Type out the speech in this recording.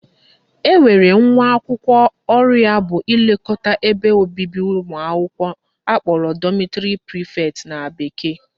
Enwere nwa akwụkwọ ọrụ ya ga-abụ ilekọta ụlọ ebe obibi ụmụakwụkwọ akpọrọ dormitory prefect na bekee